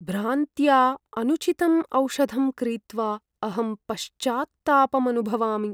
भ्रान्त्या अनुचितम् औषधं क्रीत्वा अहं पश्चात्तापम् अनुभवामि।